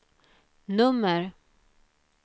nummer